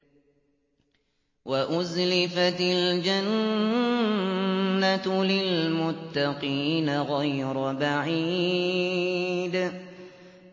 وَأُزْلِفَتِ الْجَنَّةُ لِلْمُتَّقِينَ غَيْرَ بَعِيدٍ